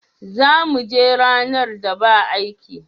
Za mu je ranar da ba aiki.